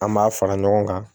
An b'a fara ɲɔgɔn kan